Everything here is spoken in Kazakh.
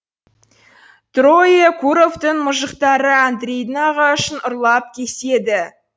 троекуровтың мұжықтары андрейдің ағашын ұрлап кеседі